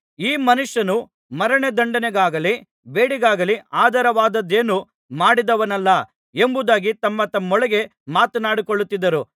ಈ ಮನುಷ್ಯನು ಮರಣದಂಡನೆಗಾಗಲಿ ಬೇಡಿಗಾಗಲಿ ಆಧಾರವಾದದ್ದೇನೂ ಮಾಡಿದವನಲ್ಲ ಎಂಬುದಾಗಿ ತಮ್ಮ ತಮ್ಮೊಳಗೆ ಮಾತನಾಡಿಕೊಳ್ಳುತ್ತಿದ್ದರು